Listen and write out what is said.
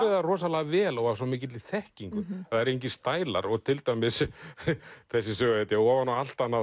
það rosalega vel og af svo mikilli þekkingu það eru engir stælar og til dæmis þessi söguhetja ofan á allt annað